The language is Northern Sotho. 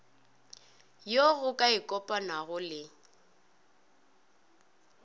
yo go ka ikopanwago le